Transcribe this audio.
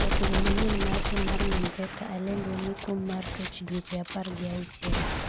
jatugo manyien mar tim mar manchester Alendu omi kum mar tuech dweche apar gi auchiel